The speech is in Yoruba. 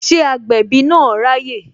Ṣé agbẹ̀bí na ráyè?